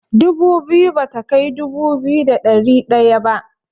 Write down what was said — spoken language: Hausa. Dubu biyu bata kai dubu biyu da ɗari ɗaya ba.